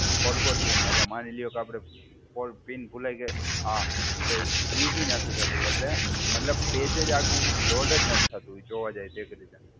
Forgot pin. એટલે માની લ્યો કે આપડે ફોર પિન ભુલાઈ ગયા આ તો એ બી નથી થતું એટલે મતલબ પેજ જ આખું લોડ જ નથી થતું. એ જોવા જઈએ તો એક રીતે.